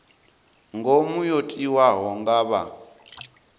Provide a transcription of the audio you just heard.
ngomu yo tiwaho nga vha